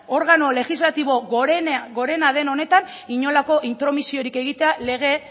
organo legislatibo gorena den honetan inolako intromisiorik egitea lege